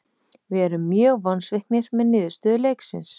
Við erum mjög vonsviknir með niðurstöðu leiksins.